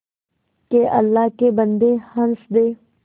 के अल्लाह के बन्दे हंस दे